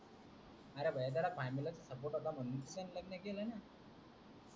अरे बायताड्या फॅमिलीचा सपोर्ट होता मानूनत त्यांनी लग्न केल न